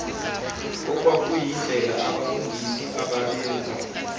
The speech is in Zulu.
okwakuyindlela abafundisi ababenza